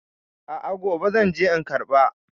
A a, gobe zan je in karɓa.